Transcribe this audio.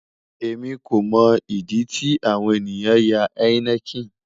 Emi ko mo idi ti awon eniyan ya heineken